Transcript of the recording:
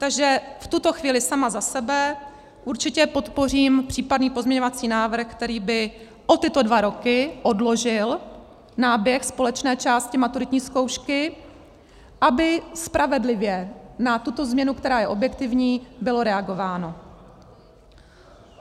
Takže v tuto chvíli sama za sebe určitě podpořím případný pozměňovací návrh, který by o tyto dva roky odložil náběh společné části maturitní zkoušky, aby spravedlivě na tuto změnu, která je objektivní, bylo reagováno.